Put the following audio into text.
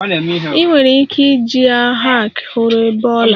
Ị nwere ike iji a hack hụrụ bee ọla